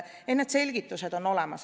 Need selgitused on olemas.